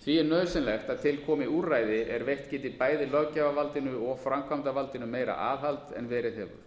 því er nauðsynlegt að til komi úrræði er veitt geti bæði löggjafarvaldinu og framkvæmdarvaldinu meira aðhald en verið hefur